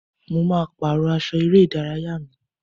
Mo ma pàrọ́ aṣọ eré ìdárayá mi ní.